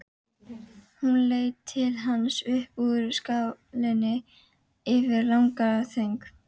Hún leit til hans upp úr skálinni eftir langa þögn.